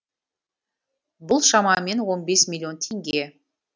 бұл шамамен он бес миллион теңге